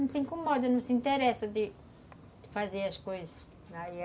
Não se incomoda, não se interessa de fazer as coisas. Aí